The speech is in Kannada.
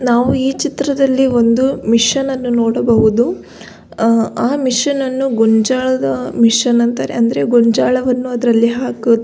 ನಾವು ಈ ಚಿತ್ರದಲ್ಲಿ ಒಂದು ಮಿಷನ್ ನ್ನು ನೋಡಬಹುದು. ಆ ಆ ಮಷೀನ್ ನ್ನು ಗೋಂಜಾಳದ ಮಷೀನ್ ಅಂತಾರೆ ಅಂದರೆ ಗೊಂಜಾಲವನ್ನು ಅದರಲ್ಲಿ ಹಾಕು--